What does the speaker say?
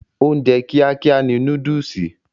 Oúnjẹ kíá kíá ni núdùùsì.